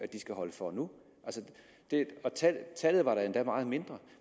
skal holde for nu da var tallet endda meget mindre